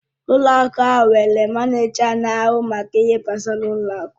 Ụlọ akụ ahụ nwere manịja na-ahụ maka ihe gbasara ụlọ akụ.